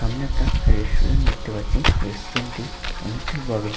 সামনে একটা রেস্টুরেন্ট পাচ্ছি রেস্টুরেন্ট টি অনেকটি বড়।